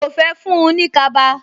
Mi ò fẹ́ fún-un ní kaba